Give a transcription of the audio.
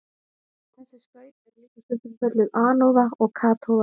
þessi skaut eru líka stundum kölluð anóða og katóða